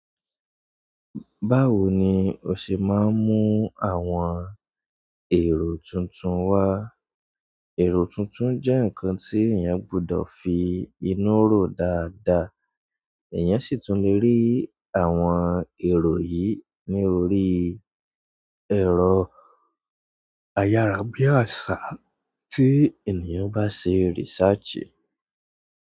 Báwo ni o ṣe máa ń mú àwọn èrò tuntun wá? Èrò tuntun jẹ́ nǹkan tí èèyàn gbọdọ̀ fi inú rọ̀ dáadáa. Ẹ̀yàn sì tún lè rí àwọn èrò yìí ní orí ẹ̀rọ a yara bi aṣa ti ènìyàn ba ṣe research.